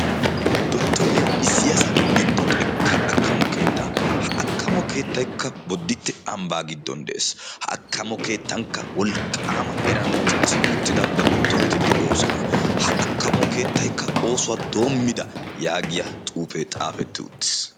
dottoriyaa isiyaasa giddo xekka akkamo keexxa ha akkamo keettaikka bodditte ambbaa giddon de7ees ha akkamo keettankka wolqqaama eran dicci uttida dottoreti de7oosona ha akkamo keettaikka oosuwaa doommida' yaagiya xuufee xaafetti uttis